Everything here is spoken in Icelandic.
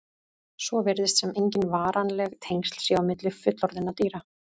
Svo virðist sem engin varanleg tengsl séu á milli fullorðinna dýra.